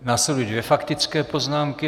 Následují dvě faktické poznámky.